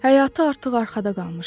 Həyatı artıq arxada qalmışdı.